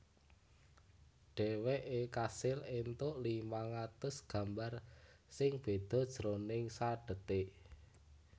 Dhèwèké kasil éntuk limang atus gambar sing béda jroning sadhetik